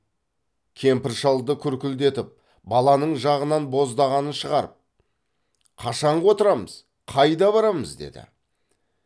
кемпір шалды күркілдетіп баланың жағынан боздағанын шығарып қашанғы отырамыз қайда барамыз деді